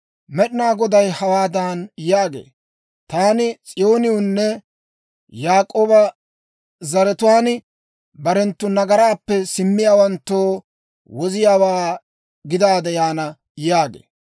Med'inaa Goday hawaadan yaagee; «Taani S'iyoonewunne Yaak'ooba zaratuwaan barenttu nagaraappe simmiyaawanttoo Woziyaawaa gidaade yaana» yaagee.